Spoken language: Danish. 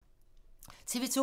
TV 2